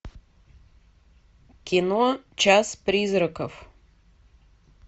кино час призраков